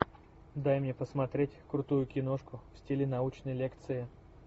дай мне посмотреть крутую киношку в стиле научной лекции